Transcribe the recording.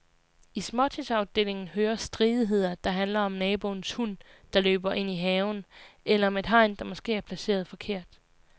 I småtingsafdelingen hører stridigheder, der handler om naboens hund, der løber ind i haven, eller om et hegn, der måske er placeret forkert.